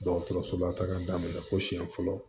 Dɔgɔtɔrɔso la taga daminɛ fo siyɛn fɔlɔ